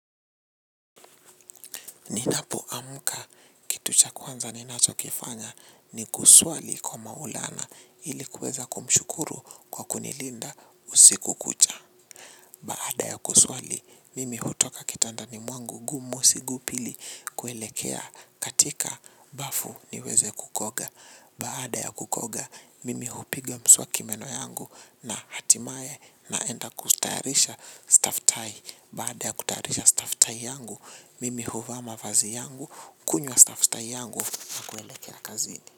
Ninap amuka, kitu cha kwanza ninacho kifanya ni kuswali kwa maulana ilikuweza kumshukuru kwa kunilinda usiku kucha. Baada ya kuswali, mimi hutoka kitandani mwangu gumu sigupili kuelekea katika bafu niweze kukoga. Baada ya kukoga, mimi hupiga mswaki meno yangu na hatimae naenda kustayarisha staff tie. Baada ya kutayarisha staff tayi yangu, mimi huvaa mafazi yangu, kunywa staff tayi yangu na kuelekea kazini.